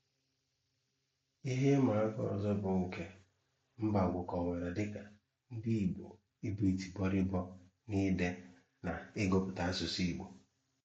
Ihè ìmàákà ọzọ bụ nke Mbagwu kọ̀wárà dịka ndị Ìgbò íbù ìtì bọ̀rìbọ̀ n’íde na n’ìgụpụ̀tà asụ̀sụ́ Ìgbò.